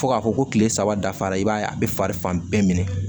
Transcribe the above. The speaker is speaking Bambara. Fo k'a fɔ ko kile saba dafara i b'a ye a be fari fan bɛɛ minɛ